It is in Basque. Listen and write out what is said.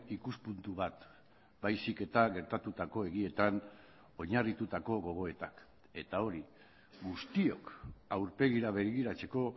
ikuspuntu bat baizik eta gertatutako egietan oinarritutako gogoetak eta hori guztiok aurpegira begiratzeko